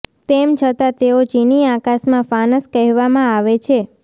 તેમ છતાં તેઓ ચિની આકાશમાં ફાનસ કહેવામાં આવે છે